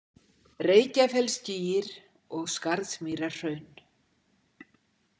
Reykjafellsgígir og Skarðsmýrarhraun.